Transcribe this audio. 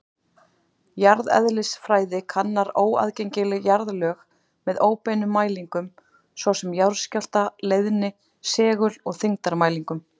Jarðeðlisfræði kannar óaðgengileg jarðlög með óbeinum mælingum, svo sem jarðskjálfta-, leiðni-, segul- og þyngdarmælingum.